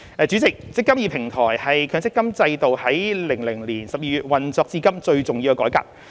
主席，"積金易"平台是強積金制度於2000年12月運作至今最重要的改革。